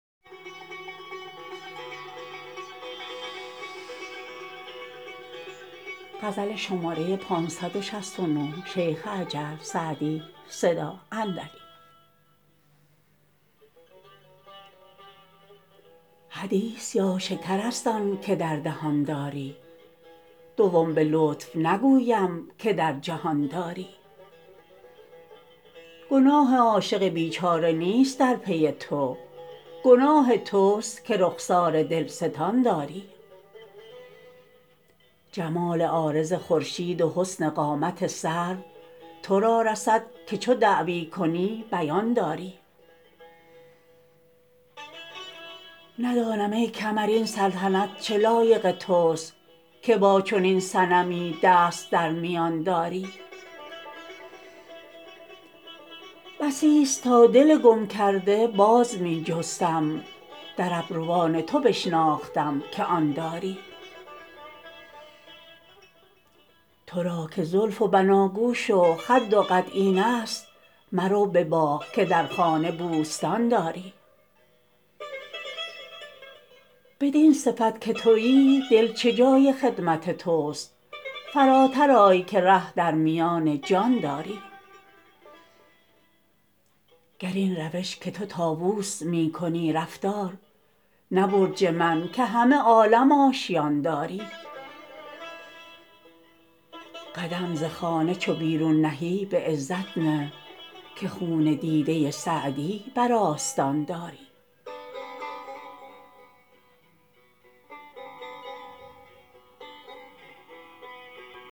حدیث یا شکر است آن که در دهان داری دوم به لطف نگویم که در جهان داری گناه عاشق بیچاره نیست در پی تو گناه توست که رخسار دلستان داری جمال عارض خورشید و حسن قامت سرو تو را رسد که چو دعوی کنی بیان داری ندانم ای کمر این سلطنت چه لایق توست که با چنین صنمی دست در میان داری بسیست تا دل گم کرده باز می جستم در ابروان تو بشناختم که آن داری تو را که زلف و بناگوش و خد و قد اینست مرو به باغ که در خانه بوستان داری بدین صفت که تویی دل چه جای خدمت توست فراتر آی که ره در میان جان داری گر این روش که تو طاووس می کنی رفتار نه برج من که همه عالم آشیان داری قدم ز خانه چو بیرون نهی به عزت نه که خون دیده سعدی بر آستان داری